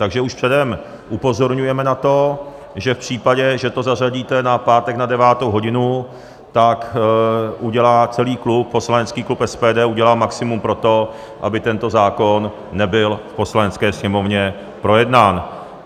Takže už předem upozorňujeme na to, že v případě, že to zařadíte na pátek na 9. hodinu, tak udělá celý klub, poslanecký klub SPD udělá maximum pro to, aby tento zákon nebyl v Poslanecké sněmovně projednán.